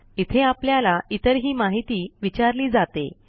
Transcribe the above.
इथे आपल्याला इतरही माहिती विचारली जाते